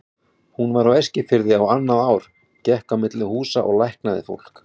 Hún var á Eskifirði á annað ár, gekk á milli húsa og læknaði fólk.